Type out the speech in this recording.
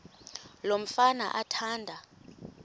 lo mfana athanda